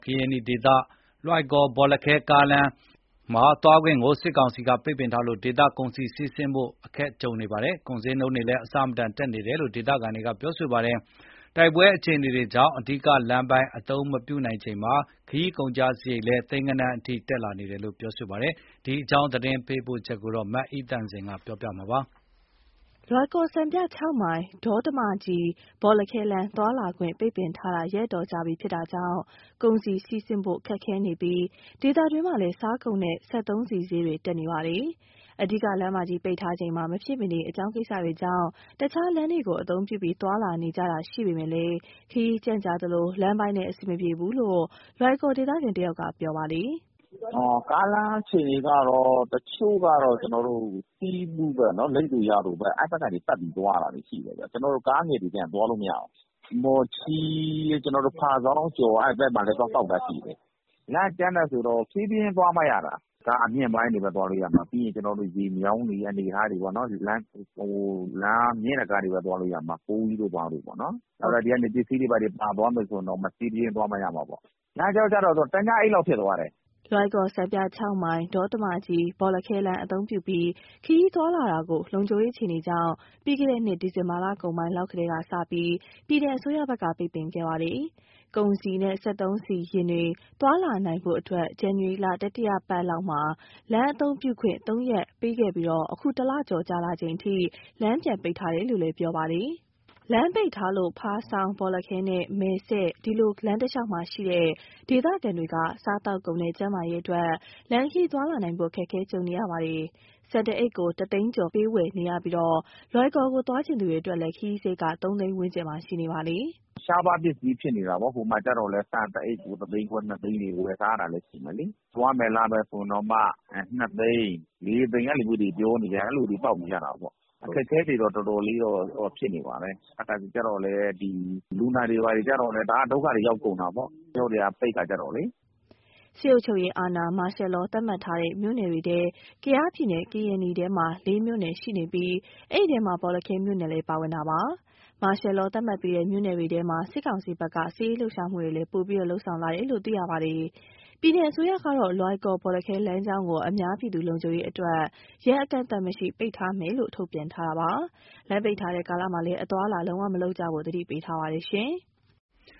ကရင်နီဒေသ လွိုင်ကော် - ဘောလခဲ ကားလမ်းမ သွားလာခွင့် ပိတ်ပင်ထားလို့ ဒေသတွင်း ကုန်စည်စီးဆင်းဖို့ အခက်ကြုံနေပြီး၊ ကုန်ဈေးနှုန်းတွေလည်း အဆမတန် တက်နေတယ်လို့ ဒေသခံတွေက ပြောပါတယ်။ တိုက်ပွဲ အခြေအနေတွေကြောင့် အဓိကလမ်းပိုင်း အသုံးမပြုနိုင်ချိန်မှာ ခရီးကုန်ကျစရိတ်ကလည်း သိန်းဂဏန်းအထိ ဈေးပေါက်နေတာပါ။ ဒီအကြောင်း သတင်းပေးပို့ချက်ကို မအိသန့်စင် ပြောပြမှာပါ။ လွိုင်ကော် - စံပြ မိုင် - ဒေါတမကြီး - ဘောလခဲလမ်း သွားလာခွင့် ပိတ်ပင်ထားတာ ရက်အတော်ကြာပြီဖြစ်လို့ ကုန်စည်စီးဆင်းဖို့ ခက်ခဲနေပြီး၊ ဒေသတွင်းမှာလည်း စားကုန်နဲ့ စက်သုံးဆီဈေးတွေ တက်နေတာပါ။ အဓိကလမ်းမကြီး ပိတ်ထားချိန်မှာ မဖြစ်မနေအကြောင်း ကိစ္စတွေကြောင့် တခြားလမ်းတွေကို အသုံးပြုပြီး သွားလာနေကြတာ ရှိပေမယ့် ခရီးကြန့်ကြာသလို၊ လမ်းပိုင်းလည်း အဆင်မပြေဘူးလို့ လွိုင်ကော်ဒေသခံ တဦးက ပြောပါတယ်။ "ကားလမ်း အခြေအနေကတော့ တချို့ကတော့ ဆီးဘူး၊ လိပ်သို၊ ယာဒို အဲဒီဘက်ကနေ ပတ်ပြီးသွားနေတာတွေ ရှိတယ်ဗျ။ ကားငယ်တွေကတော့ သွားလို့မရဘူး။ မော်ချီး၊ ဖားဆောင်းအကျော် အဲဒီဘက်မှာလည်း ထွက်ပေါက်လမ်းရှိတယ်။ လမ်းကကြမ်းတယ်ဆိုတော့ ဖြည်းဖြည်းချင်း သွားမှရတာ။ ကားအမြင့်ပိုင်းတွေပဲ သွားလို့ရမှာ။ ရေမြောင်းတွေနဲ့ဆိုတော့ မြင့်တဲ့ကားတွေပဲ သွားလို့ရမှာ။ ဒီကနေ ပစ္စည်းတွေ ဘာတွေ ပါသွားမယ် ဆိုရင်တောင်မှ ဖြည်းဖြည်းချင်းသွားမှ ရတာပေါ့။ လမ်းကြောကျတော့ သူက တညအိပ်လောက် ဖြစ်သွားတယ်။" လွိုင်ကော် - စံပြ မိုင် - ဒေါတမကြီး - ဘောလခဲလမ်း အသုံးပြုပြီး ခရီးသွားလာတာကို လုံခြုံရေး အခြေအနေကြောင့် ပြီးခဲ့တဲ့နှစ် ဒီဇင်ဘာလကုန် ပိုင်းလောက်ကစပြီး ပြည်နယ်အစိုးရဘက်က ပိတ်ပင်ခဲ့တာပါ။ ကုန်စည်နဲ့ စက်သုံးဆီယာဉ်တွေ သွားလာနိုင်ဖို့အတွက် ဇန်နဝါရီလ တတိယပတ်လောက်မှာ လမ်းအသုံးပြုခွင့် ၃ ရက်ပေးခဲ့ပြီး၊ အခု ၁ လကျော် ကြာလာချိန်အထိ လမ်းပြန်ပိတ်ထားတယ်လို့ ပြောပါတယ်။ လမ်းပိတ်ထားလို့ ဖားဆောင်း၊ ဘောလခဲနဲ့ မယ်စဲ့ ဒီလို လမ်းတလျှောက်မှာရှိတဲ့ ဒေသခံတွေဟာ စားသောက်ကုန်နဲ့ ကျန်းမာရေးအတွက် လမ်းခရီးသွားလာနိုင်ဖို့ အခက်ကြုံနေတာပါ။ ဆန်တအိတ်ကို ၁ သိန်းကျော် ပေးဝယ်နေရပြီး၊ လွိုင်ကော်ကို သွားချင်သူတွေ အတွက်လည်း ခရီးစရိတ်က ၃ သိန်း ဝန်းကျင်မှာ ရှိနေပါတယ်။ "ကုန်စည်တွေက ရှားပါးပစ္စည်း ဖြစ်နေတာပေါ့။ ဆန်တအိတ်ကို ၁ သိန်းခွဲ၊ ၂ သိန်း ဝယ်စားရတာရှိတယ်။ သွားမယ် လာမယ် ဆိုရင်တောင်မှ ၂ သိန်း၊ ၄ သိန်း အဲလိုတွေ ဈေးပေါက်နေတာပေါ့။ အခက်အခဲတွေ တော်တော်လေးတော့ ဖြစ်နေပါတယ်။ တခါတလေဆို လူနာတွေကျတော့လည်း တအား ဒုက္ခ ရောက်ကုန်တာပေါ့။ လမ်းကြောတွေက ပိတ်တဲ့အခါ ကျတော့လေ။" ကယားပြည်နယ် ထဲမှာ စစ်အုပ်ချုပ်ရေးအာဏာ Martial Law သတ်မှတ်ထားတဲ့မြို့နယ် ၄ မြို့နယ်ရှိနေပြီး၊ အဲဒီထဲမှာ ဘောလခဲမြို့နယ်လည်း ပါဝင်ပါတယ်။ Martial Law သတ်မှတ်ပြီးတဲ့ မြို့နယ်တွေထဲမှာ စစ်ကောင်စီဘက်က စစ်ရေးလှုပ်ရှားမှုတွေ ပိုပြီး လုပ်ဆောင်လာနေတယ်လို့ သိရပါတယ်။ ပြည်နယ်အစိုးရကတော့ လွိုင်ကော် - ဘောလခဲ လမ်းကြောင်းကို အများပြည်သူ လုံခြုံရေးအတွက် ရက်အကန့်အသတ်မရှိ ပိတ်ထားမယ်လို့ ထုတ်ပြန်ထားပါတယ်။ လမ်းပိတ်ထားတဲ့ ကာလမှာလည်း အသွားအလာ လုံးဝ မလုပ်ကြဖို့ကို သတိပေးထားပါတယ်။